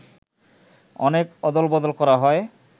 অনেক অদলবদল করা হয়